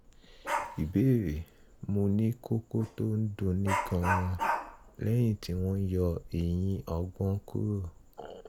ìbéèrè: mo ní kókó tó ń dunni gan-an lẹ́yìn tí wọ́n yọ eyín ọgbọ́n kúrò